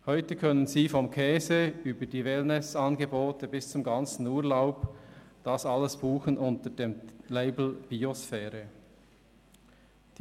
Heute können Sie vom Käse über die Wellness-Angebote bis zum kompletten Urlaub alles unter dem Label «Biosphäre» buchen.